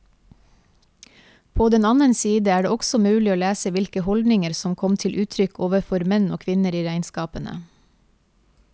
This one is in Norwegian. På den annen side er det også mulig å lese hvilke holdninger som kom til uttrykk overfor menn og kvinner i regnskapene.